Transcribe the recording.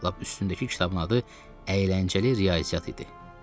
Lap üstündəki kitabın adı Əyləncəli Riyaziyyat idi.